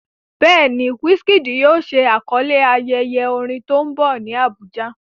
Bẹ́ẹ̀ ni, Wizkid yóò ṣe àkọlé ayẹyẹ orin tó ń bọ̀ ní Abuja.